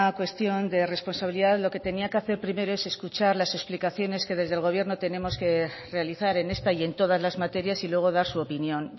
cuestión de responsabilidad lo que tenía que hacer primero es escuchar las explicaciones que desde el gobierno tenemos que realizar en esta y en todas las materias y luego dar su opinión